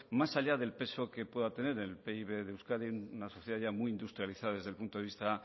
más allá del peso que pueda tener el pib de euskadi en una sociedad ya muy industrializada desde el punto de vista